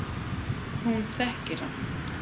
Hún þekkir hann.